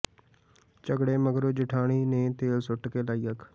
ਝਗਡ਼ੇ ਮਗਰੋਂ ਜੇਠਾਣੀ ਨੇ ਤੇਲ ਸੁੱਟ ਕੇ ਲਾਈ ਅੱਗ